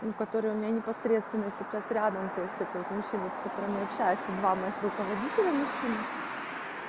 у которой у меня непосредственно сейчас рядом то есть это вот мужчины с которыми общаешься два моих руководителя мужчины